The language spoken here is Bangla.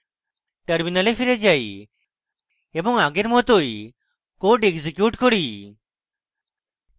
terminal ফিরে যাই এবং আগের মতই code execute করি